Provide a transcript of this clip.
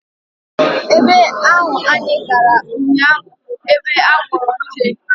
Ebe ahụ anyị gara ụnyaahụ bụ ebe a gwọrọ nne